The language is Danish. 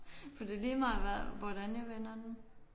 For det er lige meget hvad hvordan jeg vender den